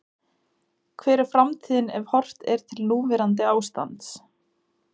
Hver er framtíðin ef horft er til núverandi ástands?